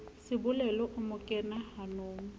sebolelo o mo kena hanong